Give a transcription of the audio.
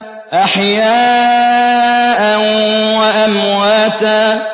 أَحْيَاءً وَأَمْوَاتًا